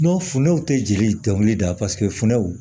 fundɛw tɛ jeli dɔnkili da paseke funɛw